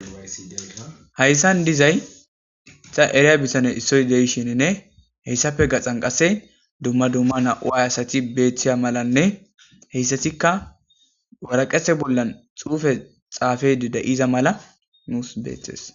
hayssan dizay ta eriya bitane issoy de'ishininne heyssape gaxan qase dumma dumma na'u ay asati beeththiya malanne heyssatikka waraqete bollan xuufe xaafedi da'iza mala nuus beettes